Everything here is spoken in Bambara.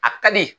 A ka di